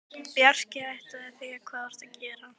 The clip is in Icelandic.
Bjarki, áttarðu á því hvað þú ert að gera?